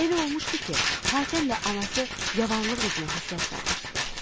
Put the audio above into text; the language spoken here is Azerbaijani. Elə olmuşdu ki, Hatəmlə anası yavanlıq üzünə həsrət qalmışdılar.